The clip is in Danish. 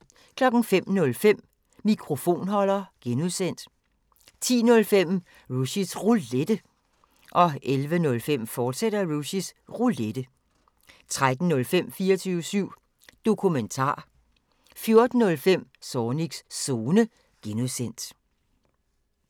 05:05: Mikrofonholder (G) 10:05: Rushys Roulette 11:05: Rushys Roulette, fortsat 13:05: 24syv Dokumentar 14:05: Zornigs Zone (G)